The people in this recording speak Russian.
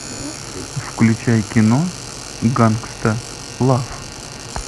включай кино гангста лав